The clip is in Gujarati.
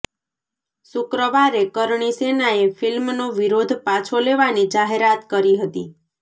શુક્રવારે કરણી સેનાએ ફિલ્મનો વિરોધ પાછો લેવાની જાહેરાત કરી હતી